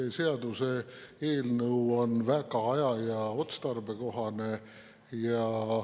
See seaduseelnõu on väga aja‑ ja otstarbekohane.